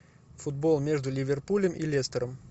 футбол между ливерпулем и лестером